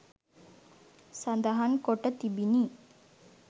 සඳහන් කොට තිබිණි